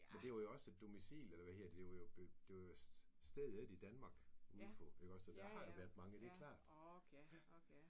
Men det var jo også et domicil eller hvad hedder det det var jo det var jo stedet i Danmark ude på så der har jo været mange det er klart